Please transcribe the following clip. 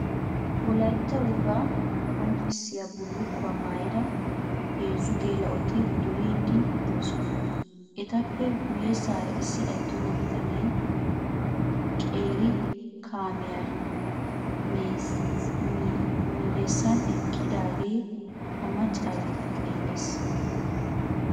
Wolatta wogaa qonccissiya bullukkuwa maayida heezzu geela'oti duriiddi de'osona. Etappe guyessaara issi attuma bitanee qeeri kaamiya miyessan eqqidaagee ha maccaageeta xeellees.